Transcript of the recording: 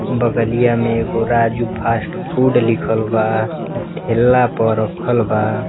बगलिया में एगो राजू फास्ट फूड लिखल बा। अ ठेला पर राखल बा।